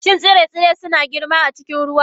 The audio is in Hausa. Shin tsire-tsire suna girma a cikin ruwa?